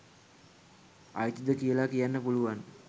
අයිතිද කියල කියන්න පුලුවන්